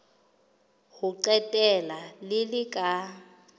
ho qetela le le ka